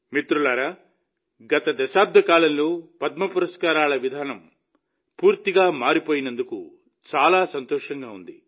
మిత్రులారా గత దశాబ్ద కాలంలో పద్మ పురస్కారాల విధానం పూర్తిగా మారిపోయినందుకు చాలా సంతోషంగా ఉంది